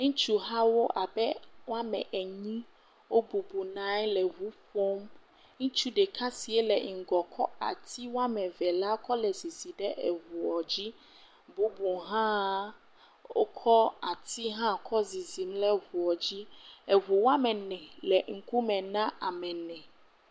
Ŋutsu hawo abe woame enyi wobɔbɔna nyi le eŋu ƒom. Ŋutsu ɖeka si le ŋgɔ kɔ asi woame ve la kɔ le zizim ɖe eŋua dzi. Bubu hã wokɔ asi hã kɔ zizim le ŋua dzi. Eŋu woame ne le ŋkume na ame ne.